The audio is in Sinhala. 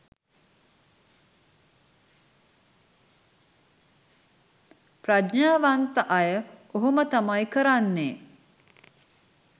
ප්‍රඥාවන්ත අය ඔහොම තමයි කරන්නේ.